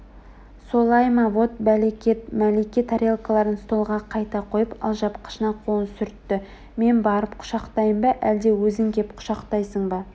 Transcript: солай ма вот бәлекет мәлике тарелкаларын столға қайта қойып алжапқышына қолын сүртті мен барып құшақтайын ба әлде өзің кеп құшақтайсың ба